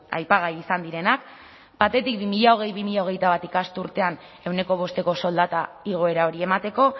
aipagai izan direnak batetik bi mila hogei bi mila hogeita bat ikasturtean ehuneko bosteko soldata igoera hori emateko